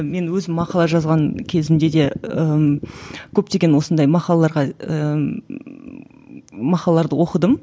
мен өзім мақала жазған кезімде де ііі көптеген осындай мақалаларға ммм мақалаларды оқыдым